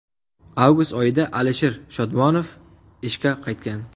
Avgust oyida Alisher Shodmonov ishga qaytgan .